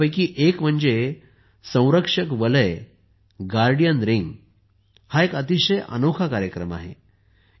यापैकी एक म्हणजे संरक्षक वलय गार्डियन रिंग हा एक अतिशय अनोखा कार्यक्रम असेल